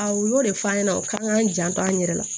Awɔ u y'o de fɔ an ɲɛna u k'an k'an janto an yɛrɛ la